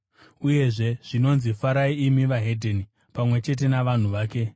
Uyezve zvinonzi, “Farai imi veDzimwe Ndudzi, pamwe chete navanhu vake.”